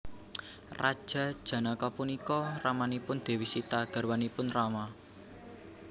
Raja Janaka punika ramanipun Dewi Sita garwanipun Rama